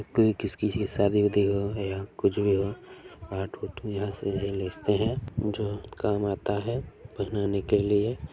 कोई किसी की शादी -वादी हो या कुछ भी हो आ ठूठू यहाँ से लेजते है जो काम आता है पहनाने के लिये।